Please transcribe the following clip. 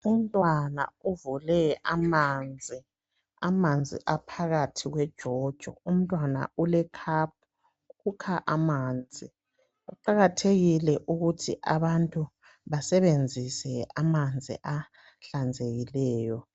Umntwana uvule amanzi. Amanzi aphakathi kwejojo. Umntwana ule cup, ukha amanzi. Kuqakathekile ukuthi abantu basebenzise amanzi ahlanzekileyo.